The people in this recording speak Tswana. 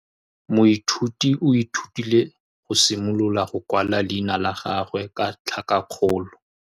Moithuti o ithutile go simolola go kwala leina la gagwe ka tlhakakgolo.